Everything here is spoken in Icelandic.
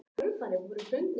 Mist valin í tvö úrvalslið